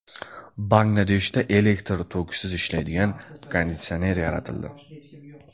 Bangladeshda elektr tokisiz ishlaydigan konditsioner yaratildi .